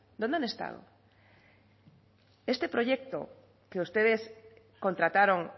dónde han estado este proyecto que ustedes contrataron